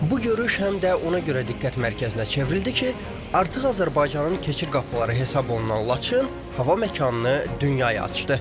Bu görüş həm də ona görə diqqət mərkəzinə çevrildi ki, artıq Azərbaycanın keçid qapıları hesab olunan Laçın hava məkanını dünyaya açdı.